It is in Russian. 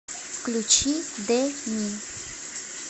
включи де ми